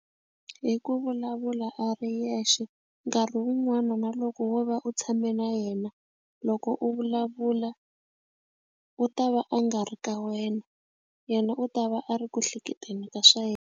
Hi ku vulavula a ri yexe nkarhi wun'wana na loko wo va u tshame na yena loko u vulavula u ta va a nga ri ka wena yena u ta va a ri ku hleketeni ka swa yena.